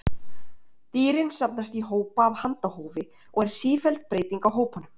Dýrin safnast í hópa af handahófi og er sífelld breyting á hópunum.